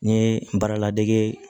N ye n baara ladege